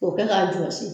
K'o kɛ k'a jɔsi